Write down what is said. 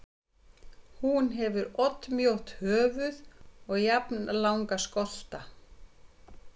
Hún hefur oddmjótt höfuð og jafnlanga skolta.